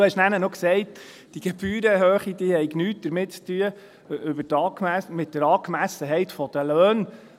Danach hast du noch gesagt, die Gebührenhöhe habe nichts mit der Angemessenheit der Löhne zu tun.